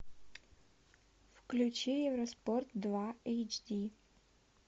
включи евроспорт два эйч ди